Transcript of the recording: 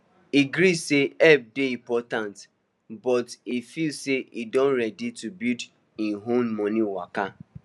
e gree say help dey important but e feel say e don ready to build him own money waka